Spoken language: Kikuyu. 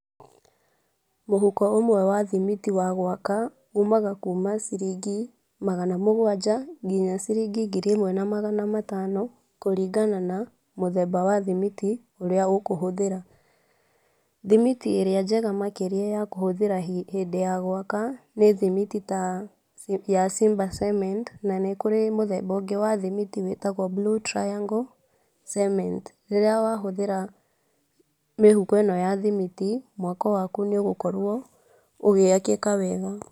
Mũhũko ũmwe wa thimiti wa gwaka umaga kuma ciringi magana mũgwanja nginya ciringi ngiri imwe na magana matano kũringana na mũthemba wa thimiti ũrĩa ũkũhuthĩra. Thimiti ĩrĩa njega makĩria ya kũhũthĩra hĩndĩ ya gwaka nĩ thimiti ya ta ya simba cement na nĩkũrĩ mũthemba ũngĩ wa thimiti wĩtagwo Blue Triangle Cement . Rĩrĩa wahũthĩra mĩhũko ino ya thimiti mwako waku nĩũgũkorwo ũgĩakĩka wega.